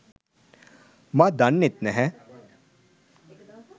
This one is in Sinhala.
මා දන්නෙත් නැහැ.